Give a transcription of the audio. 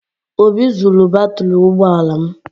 Obi zuru batrị ụgbọ ala m